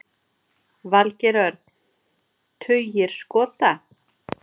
Valgeir Örn: Tugir skota?